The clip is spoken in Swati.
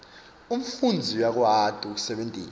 umfundzi uyakwati kusebentisa